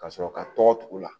Ka sɔrɔ ka tɔgɔ t'u la